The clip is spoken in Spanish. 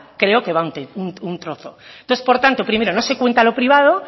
creo que va un trozo entonces por tanto primero no se cuenta lo privado